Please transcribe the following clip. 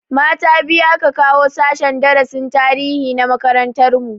Mata biyu aka kawo sashen darasin tarihi na makarantar mu